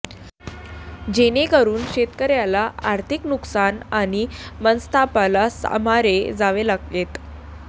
जेणेकरून शेतकर्याला आर्थिक नुकसान आणि मनस्तापाला सामारे जावे लागेत